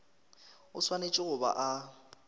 o swanetše go ba a